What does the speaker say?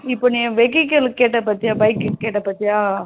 இப்போ நீ vehicle கேட்ட பாத்தியா? bike கேட்ட பாத்தியா?